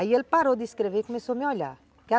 Aí ele parou de escrever e começou a me olhar.